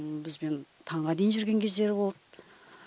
бізбен таңға дейін жүрген кездері болды